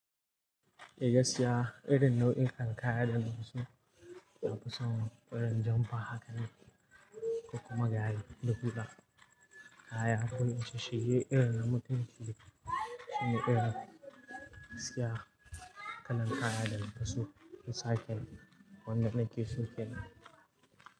Eh gasiya irin nau'in kan kaya da nakeso, saboda samun irin jamfa haka ne, kokuma gare da hula. Kaya kunna shi shige irin na mutunci ne, sunan irin gaskiya kalan kaya dana fiso, insa ken, wanda nakeso kenan.